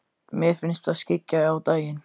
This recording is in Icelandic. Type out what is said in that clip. Mér finnst það skyggja á daginn.